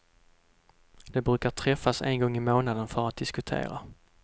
De brukar träffas en gång i månaden för att diskutera.